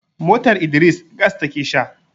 motar Idris gas take Sha